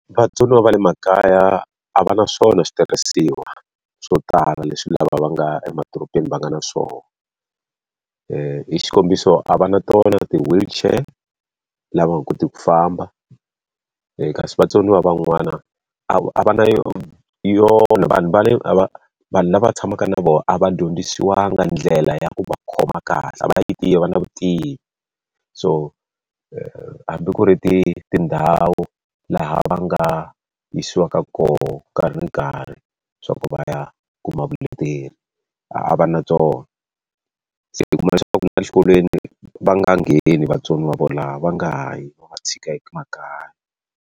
Vatsoniwa va le makaya a va na swona switirhisiwa swo tala leswi lava va nga emadorobeni va nga na swona. hi xikombiso a va na tona ti-wheelchair lava va nga kotiki ku famba, kasi vatsoniwa van'wana a va na vanhu va le a va vanhu lava tshamaka na vona a va dyondzisiwangi ndlela ya ku va khoma kahle, va yi tivi a va na vutivi. So hambi ku ri tindhawu laha va nga yisiwaka kona nkarhi ni nkarhi leswaku va ya kuma vuleteri, a va na byona. Se i kuma leswaku na exikolweni va nga ha ngheni vatsoniwa volavo, va nga ha yi, va tshika .